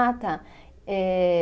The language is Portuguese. Ah, tá. Eh